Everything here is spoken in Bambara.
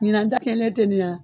Ɲinan ta cɛnlen tɛ nin ya